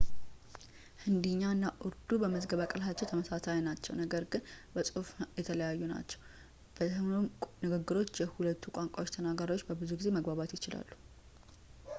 ህንዲኛ እና ኡርዱ በመዝገበ ቃላታቸው ተመሳሳይ ነገር ግን በጽሁፍ የተለያዩ ናቸው በሁሉም ንግግሮች የሁለቱም ቋንቋ ተናጋሪዎች ብዙ ጊዜ መግባባት ይችላሉ